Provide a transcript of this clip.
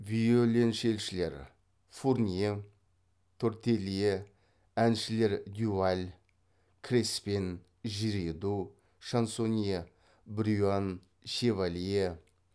виоленчельшілер фурнье тортелье әншілер дюваль креспен жириду шансонье брюан шевалье